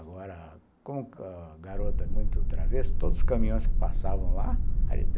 Agora, como a garota é muito travessa, todos os caminhões que passavam lá, a